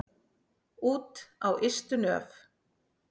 Út á ystu nöf.